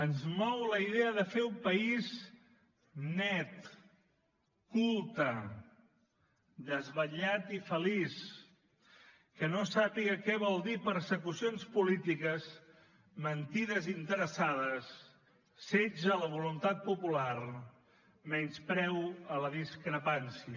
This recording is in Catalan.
ens mou la idea de fer un país net culte desvetllat i feliç que no sàpiga què vol dir persecucions polítiques mentides interessades setge a la voluntat popular menyspreu a la discrepància